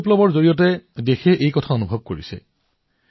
শ্বেত বিপ্লৱৰ সময়ত দেশখনে ইয়াক অনুভৱ কৰিছে